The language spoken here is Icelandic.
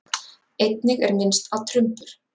Einnig er minnst á trumbur.